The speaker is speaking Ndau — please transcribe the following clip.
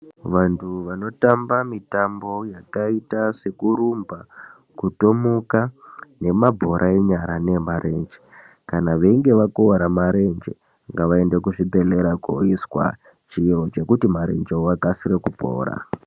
Vantu vanotamba mitambo yakaita sekurumba, kutomuka nemabhora enyara neemarenje kana veinge vakuvara marenje ngavaende kuchibhedhlera kooiswa chiro chinoita kuti marenje akasire kupora.